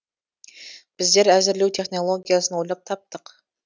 біздер әзірлеу технологиясын ойлап таптық